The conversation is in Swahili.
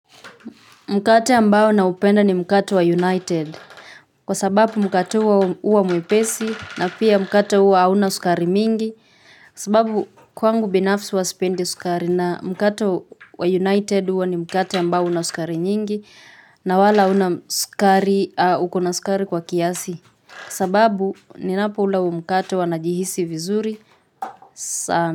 Mkate ambao naupenda ni mkate wa united kwa sababu mkate huo huwa mwepesi na pia mkate huo hauna sukari mingi kwa sababu kwangu binafsi huwa sipendi sukari na mkate wa united huwa ni mkate ambao hauna sukari nyingi na wala huna sukari ukona sukari kwa kiasi kwa sababu ninapoula huu mkate huwa najihisi vizuri sana.